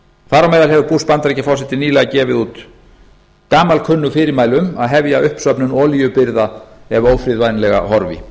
þar á meðal hefur bush bandaríkjaforseti nýlega gefið út gamalkunnug fyrirmæli um að hefja uppsöfnun olíubirgða ef ófriðvænlega horfi